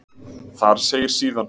Þar segir síðan: